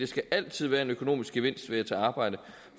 skal altid være en økonomisk gevinst ved et arbejde